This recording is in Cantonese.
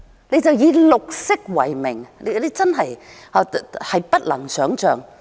你們只管以綠色為名，真的不能想象。